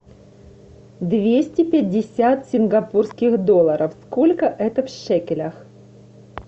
двести пятьдесят сингапурских долларов сколько это в шекелях